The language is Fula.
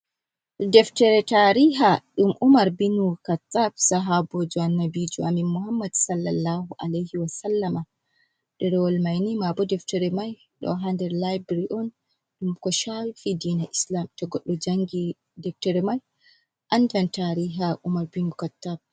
Daftere tariha ɗum Umar binu Khattab sahaboji Annabijo amin Muhammad Sallallahu Alaihi wa Sallama. Ɗerewol mai ni mabu deftere mai ɗo haa nder libirari on ɗum ko shafi dina Islam, to goɗɗo jaangi deftere mai andan tariha Umar binu Khattab.